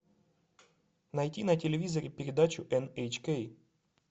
найти на телевизоре передачу эн эйч кей